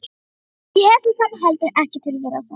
Ég hef svo sem heldur ekkert til þeirra að sækja.